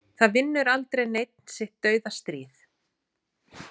Það vinnur aldrei neinn sitt dauðastríð.